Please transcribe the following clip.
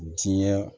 Diɲɛ